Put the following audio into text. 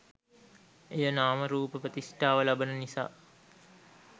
එය නාම රූප ප්‍රතිෂ්ඨාව ලබන නිසා